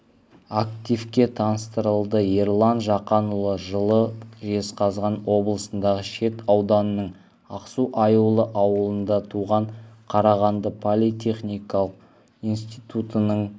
активке таныстырылды ерлан жақанұлы жылы жезқазған облысындағы шет ауданының ақсу-аюлы ауылында туған қарағанды политехникалық институтының